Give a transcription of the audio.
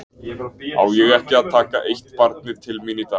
Á ég ekki að taka eitt barnið til mín í dag?